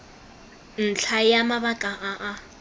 ntlha ya mabaka a a